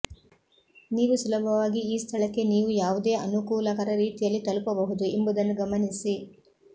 ನೀವು ಸುಲಭವಾಗಿ ಈ ಸ್ಥಳಕ್ಕೆ ನೀವು ಯಾವುದೇ ಅನುಕೂಲಕರ ರೀತಿಯಲ್ಲಿ ತಲುಪಬಹುದು ಎಂಬುದನ್ನು ಗಮನಿಸಿ